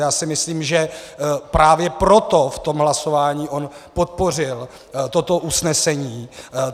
Já si myslím, že právě proto v tom hlasování on podpořil toto usnesení.